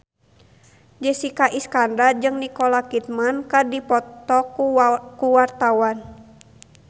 Jessica Iskandar jeung Nicole Kidman keur dipoto ku wartawan